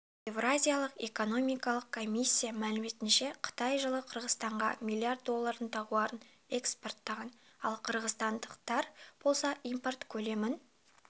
еуразиялық экономикалық комиссия мәліметінше қытай жылы қырғызстанға миллиард доллардың тауарын экспорттаған ал қырғызстандықтар болса импорт көлемін